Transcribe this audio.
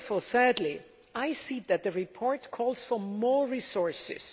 Thirdly, I see that the report calls for more resources.